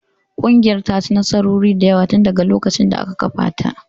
Ƙungiyar ta ci nasarori da yawa tun daga lokacin da aka kafa ta